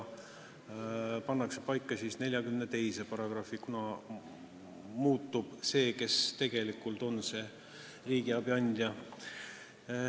See pannakse paika §-s 42, kuna muutub see, kes tegelikult on see regionaalse abi andja.